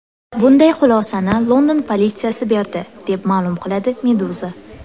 Bunday xulosani London politsiyasi berdi, deb ma’lum qiladi Meduza.